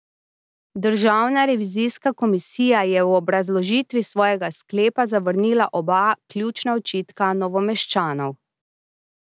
Državna revizijska komisija je v obrazložitvi svojega sklepa zavrnila oba ključna očitka Novomeščanov.